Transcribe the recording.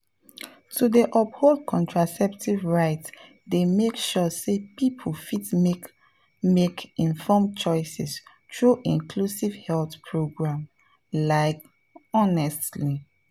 to dey uphold contraceptive rights dey make sure say people fit make make informed choices through inclusive health programs like honestly.